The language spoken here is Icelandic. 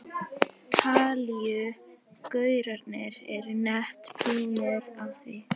Talíu gaurarnir eru nett búnir á því.